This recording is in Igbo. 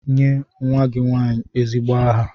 Nye nwa gị nwanyị ezigbo aha!